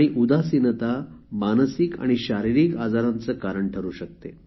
उदासीनता मानसिक आणि शारीरिक आजारांचे कारण ठरू शकते